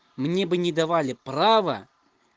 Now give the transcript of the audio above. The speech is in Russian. мне бы не давали право